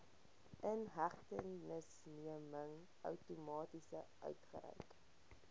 inhegtenisneming outomaties uitgereik